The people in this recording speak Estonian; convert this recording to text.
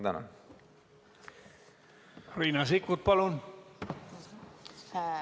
Riina Sikkut, palun!